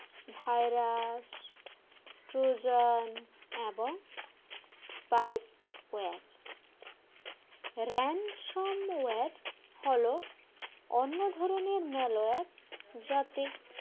virus trojan এবং ransomware হল অন্য ধরনের malware যাতে